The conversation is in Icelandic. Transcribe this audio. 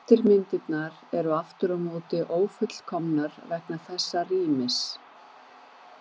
Eftirmyndirnar eru aftur á móti ófullkomnar vegna þessa rýmis.